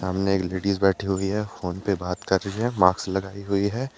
सामने एक लेडीज बैठी हुई है फोन पे बात कर रही है मास्क लगाई हुई है।